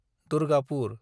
Durgapur